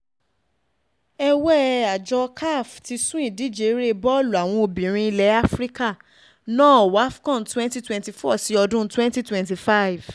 è̩wé̩ àjọ caf ti sún ìdíje eré̩ bọ́ọ̀lù àwọn obìnrin ilẹ̀ áfíríkà náà wafco̩n twenty twenty four sí ọdún twenty twenty five